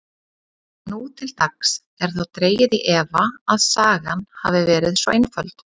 Nú til dags er þó dregið í efa að sagan hafi verið svo einföld.